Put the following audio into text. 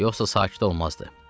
yoxsa sakit olmazdı.